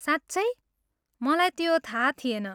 साँच्चै? मलाई त्यो थाहा थिएन!